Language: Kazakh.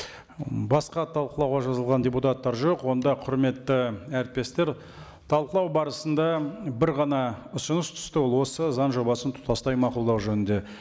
м басқа талқылауға жазылған депутаттар жоқ онда құрметті әріптестер талқылау барысында бір ғана ұсыныс түсті ол осы заң жобасын тұтастай мақұлдау жөнінде